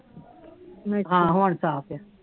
ਹਾਂ ਰੁਣ ਸਾਫ ਆ